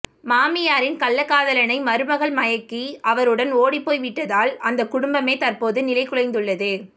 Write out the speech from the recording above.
மாமியாரின் கள்ளக்காதலனை மருமகள் மயக்கி அவருடன் ஓடிப் போய் விட்டதால் அந்த குடும்பமே தற்போது நிலை குலைந்துள்ளது